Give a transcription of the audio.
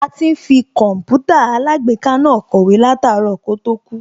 A ti ń fi Kọǹpútà alágbèéká náà kọ̀wé láàtárọ̀ kó tó kú